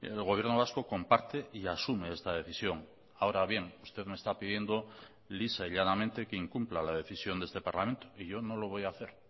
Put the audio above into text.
el gobierno vasco comparte y asume esta decisión ahora bien usted me está pidiendo lisa y llanamente que incumpla la decisión de este parlamento y yo no lo voy a hacer